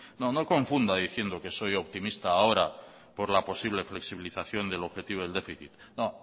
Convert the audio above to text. no confunda diciendo que soy optimista ahora por la posible flexibilización del objetivo del déficit no